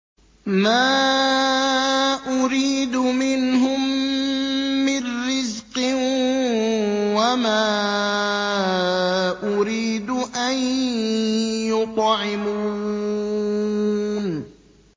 مَا أُرِيدُ مِنْهُم مِّن رِّزْقٍ وَمَا أُرِيدُ أَن يُطْعِمُونِ